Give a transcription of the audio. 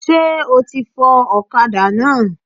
Sé o ti fọ òkadá náà?